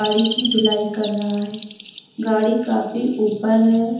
गाड़ी की धुलाई कर रहा है गाड़ी काफी ऊपर है।